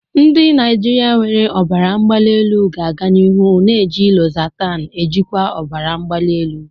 Ndị Naijiria nwere ọbara mgbali elu ga-aga n'ihu na-eji lozatanu ejikwa ọbara mgbali elu.